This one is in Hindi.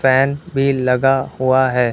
फैन भी लगा हुआ है।